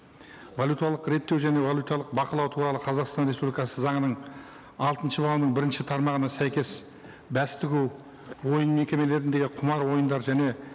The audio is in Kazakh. валюталық реттеу және валюталық бақылау туралы қазақстан республикасы заңының алтыншы бабының бірінші тармағына сәйкес бәс тігу ойын мекемелеріндегі құмар ойындар және